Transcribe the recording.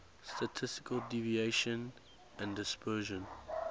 statistical deviation and dispersion